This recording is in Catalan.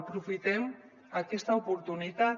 aprofitem aquesta oportunitat